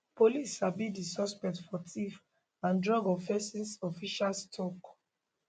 police sabi di suspect for theft and drug offences officials tok